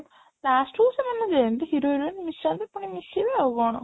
last କୁ ସେମାନେ ଯେମିତି hero heroine ମିଶନ୍ତି ପୁଣି ମିଶିବେ ଆଉ କ'ଣ